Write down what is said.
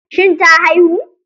Shin ta haihu?